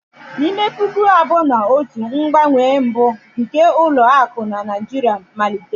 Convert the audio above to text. N'ime puku abụọ na otu, mgbanwe mbụ nke ụlọ akụ na Naijiria malitere.